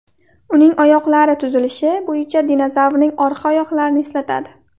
Uning oyoqlari tuzilishi bo‘yicha dinozavrning orqa oyoqlarini eslatadi.